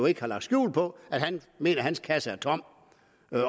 ikke har lagt skjul på at han mener at hans kasse er tom